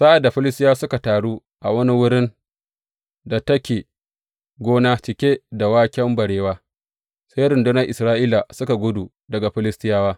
Sa’ad da Filistiyawa suka taru a wani wurin da take gona cike da waken barewa, sai rundunar Isra’ila suka gudu daga Filistiyawa.